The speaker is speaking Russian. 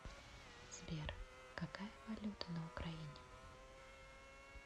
сбер какая валюта на украине